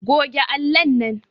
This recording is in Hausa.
Goge allon nan